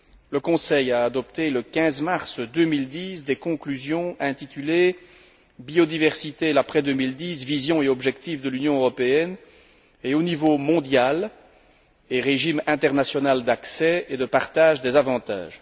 le Conseil a adopté, le 15 mars 2010, des conclusions intitulées Biodiversité l'après 2010 Vision et objectifs de l'UE et au niveau mondial, et régime international d'accès et de partage des avantages.